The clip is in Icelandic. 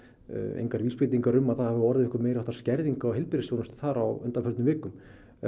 engar vísbendingar um að það hafi orðið einhver meiri háttar skerðing á heilbrigðisþjónustu þar á undanförnum vikum